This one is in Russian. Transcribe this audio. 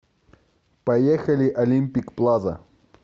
поехали олимпик плаза